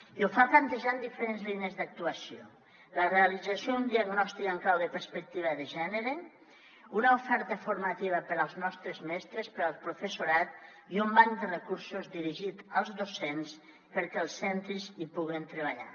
i ho fa plantejant diferents línies d’actuació la realització d’un diagnòstic en clau de perspectiva de gènere una oferta formativa per als nostres mestres per al professorat i un banc de recursos dirigit als docents perquè els centres hi puguin treballar